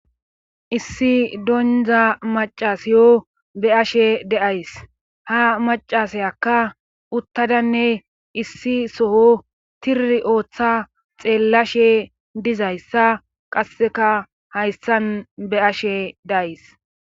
Issi dondza macasiyo be ashe de7ays ha macasayakka uttadanne issi soho tiri ooththa xeellashe dizayssa qasseka hayssan be ashe days